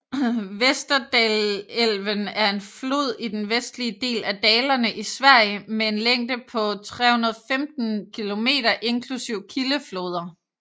Västerdalälven er en flod i den vestlige del af Dalarna i Sverige med en længde på 315 km inklusive kildefloder